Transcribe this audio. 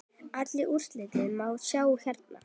Öll úrslit má sjá hérna.